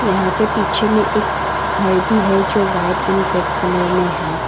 यहां पे पीछे में एक घर भी है जो वाइट एंड रेड कलर में है।